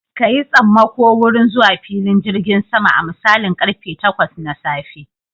Ka yi tsammako wurin zuwa filin jirgin sama a misalin karfe takwas na safe